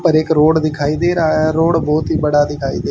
पर एक रोड दिखाई दे रहा है रोड बहुत ही बड़ा दिखाई दे--